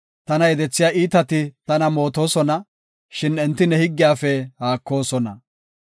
Tana yedethiya iitati tako matoosona; shin enti ne higgiyafe haakoosona.